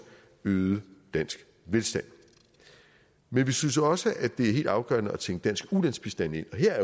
øget dansk velstand men vi synes også det er helt afgørende at tænke dansk ulandsbistand ind og her er